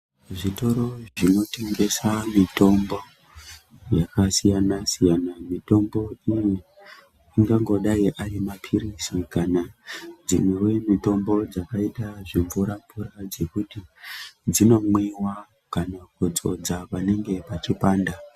Zvitoro zvinotengesa mitombo yakasiyana siyana, mitombo iyi angangodai arimaphirizi kana dzimwewo mitombo dzakaita zvimvuravura dzekuti dzinomwiwa kana kudzodza panenge pachipanda.